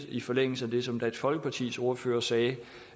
i forlængelse af det som dansk folkepartis ordfører sagde